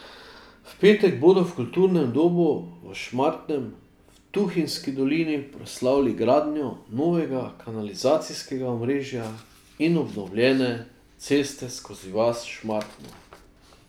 V petek bodo v kulturnem domu v Šmartnem v Tuhinjski dolini proslavili gradnjo novega kanalizacijskega omrežja in obnovljene ceste skozi vas Šmartno.